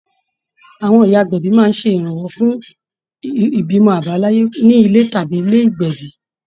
Àwọn ìyá agbẹ̀bí máa ń ṣe ìrànwọ́ fún ìbímọ àbáláyé ní ilé tàbí ní ilé ìgbẹ̀bí